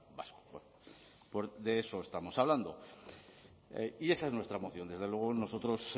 vasco bueno pues de eso estamos hablando y esa es nuestra moción desde luego nosotros